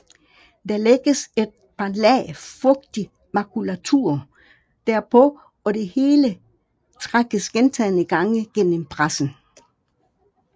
Der lægges et par lag fugtig makulatur derpå og det hele trækkes gentagne gange gennem pressen